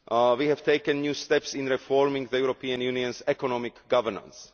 We have taken new steps in reforming the European Unionʼs economic governance.